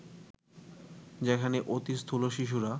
যেখানে অতি স্থূল শিশুরা